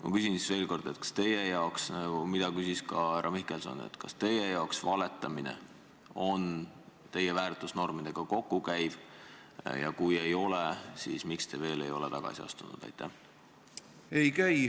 Ma küsin siis veel kord seda, mida küsis ka härra Mihkelson: kas valetamine käib teie väärtusnormidega kokku ja kui ei käi, siis miks te ei ole veel tagasi astunud?